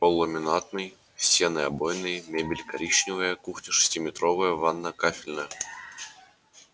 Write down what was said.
пол ламинатный стены обойные мебель коричневая кухня шестиметровая ванная кафельная